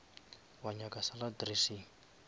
wa nyaka salad dressing